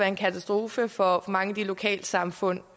en katastrofe for mange af de lokale samfund